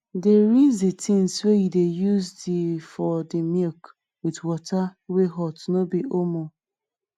dey rinse the things wey you dey use the for the milk with water wey hot no be omo